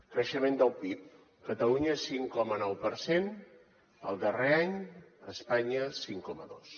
creixement del pib catalunya cinc coma nou per cent el darrer any espanya cinc coma dos